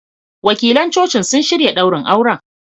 Wakilan Cocin sun shirya ɗaurin auren.